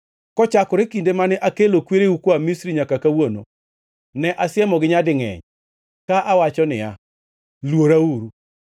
Kochakore kinde mane akelo kwereu koa Misri nyaka kawuono, ne asiemogi nyadingʼeny, ka awacho niya, “Luorauru.”